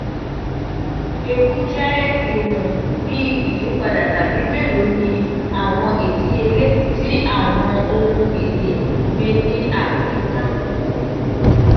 ewu jẹ iwọn bi iyipada tabi melo ni awọn idiyele ti awọn ohun-ini gbe ni ayika.